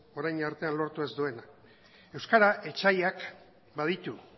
orain arte lortu ez duena euskara etsaiak baditu